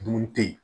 Dun tɛ yen